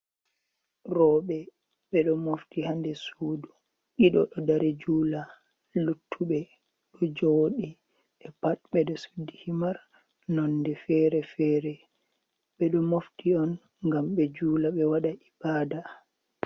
Rowɓe ɓe ɗo mofti haa nder suudu, ɗiɗo ɗo dari juula, luttuɓe ɗo jooɗi. Ɓe pat ɓe ɗo suddi himar nonde feere-feere, ɓe ɗo mofti on ngam ɓe juula, ɓe waɗa ibaada.